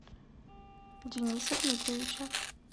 дениса дмитриевича